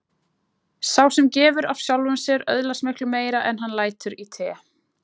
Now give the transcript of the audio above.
Sá sem gefur af sjálfum sér öðlast miklu meira en hann lætur í té.